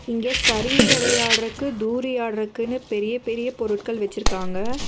இங்க சருங்கி வெளயாட்றக்கு தூரியாட்ரக்குனு பெரிய பெரிய பொருட்கள் வெச்சிருக்காங்க.